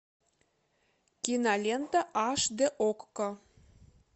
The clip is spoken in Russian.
кинолента аш дэ окко